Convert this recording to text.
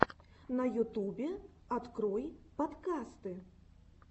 на ютубе открой подкасты